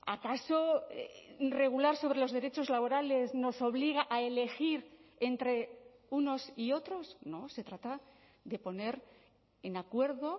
acaso regular sobre los derechos laborales nos obliga a elegir entre unos y otros no se trata de poner en acuerdo